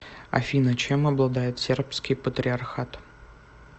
афина чем обладает сербский патриархат